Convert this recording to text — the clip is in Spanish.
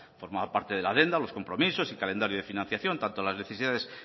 formaba parte de la adenda los compromisos y calendarios de financiación tanto las necesidades